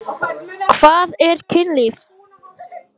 Ég hélt ég yrði ekki eldri!